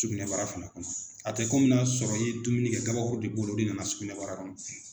Sugunɛbara fana kɔnɔ a tɛ kɔmi n'a sɔrɔ i ye dumuni kɛ kabakuru de b'o la o de nana sugunɛbara kɔnɔ